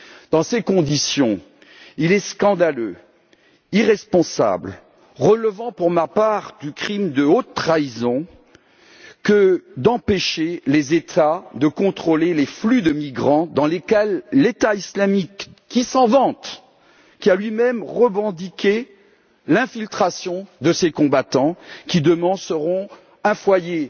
Dans ces conditions, il est scandaleux, irresponsable et digne, pour ma part, du crime de haute trahison d'empêcher les États de contrôler les flux de migrants dans lesquels l'État islamique, qui s'en vante, a lui même revendiqué l'infiltration de ses combattants, qui seront demain un facteur